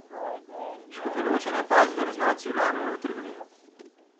Škofjeločan je opazil, da neznanci vlamljajo v trgovino.